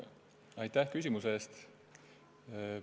Aitäh küsimuse eest!